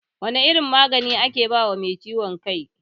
Wane irin magani ake bawa mai ciwon kai?